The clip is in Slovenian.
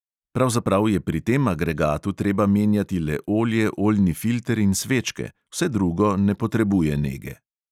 Pravzaprav je pri tem agregatu treba menjati le olje, oljni filter in svečke, vse drugo ne potrebuje nege.